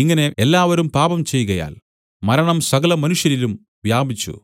ഇങ്ങനെ എല്ലാവരും പാപം ചെയ്കയാൽ മരണം സകലമനുഷ്യരിലും വ്യാപിച്ചു